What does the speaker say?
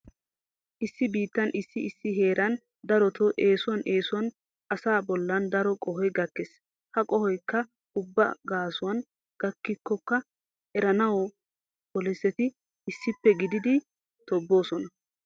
Issi biittan issi issi heeran daroto eesuwan eesuwan asaa bollan daro qohoy gakkees. Ha qohoykka ayba gaasuwan gakkiyakko eranawu poliseti issippe gididi tobboosona.